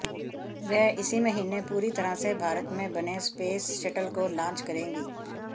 वह इसी महीने पूरी तरह से भारत में बने स्पेस शटल को लॉन्च करेगी